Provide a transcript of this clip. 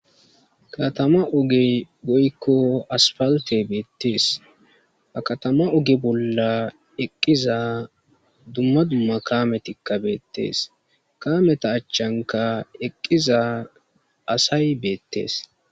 Katama ogey goykko aspalte beettees a katama oge bolla eqqiza dumma dumma kametikka beettees kameta achchanka eqqiza asay beettees